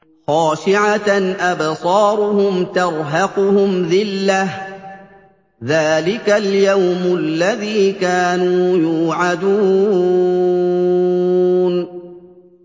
خَاشِعَةً أَبْصَارُهُمْ تَرْهَقُهُمْ ذِلَّةٌ ۚ ذَٰلِكَ الْيَوْمُ الَّذِي كَانُوا يُوعَدُونَ